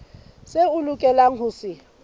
seo a lokelang ho se